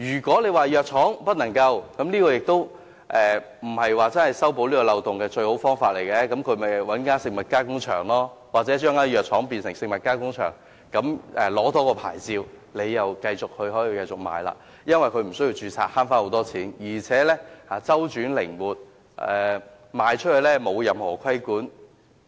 規定藥廠不能生產食品，也不是修補漏洞的最佳辦法，因為藥廠可以透過食物加工場加工，或將藥廠變成食物加工場，多取一個牌照後又可以繼續生產售賣，無須註冊為中成藥，大大節省成本，而且出售後不受任何規管。